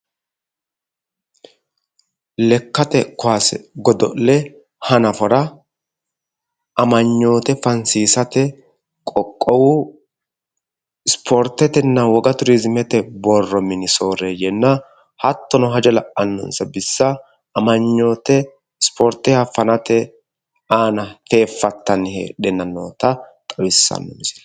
Lekkate kaase godo'le hannafora amanyoote fansiisate qoqowu spoortetenna woga tourismete borro minni sooreeyenna hattono hajo la'anonsa bissa amanyoote spoorteeha fannate aanna fefattanni heedhanna nootta xawissano misilleeti.